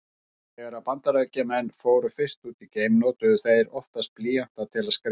Þegar Bandaríkjamenn fóru fyrst út í geiminn notuðu þeir því oftast blýanta til að skrifa.